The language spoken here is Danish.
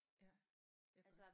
Ja jeg kan godt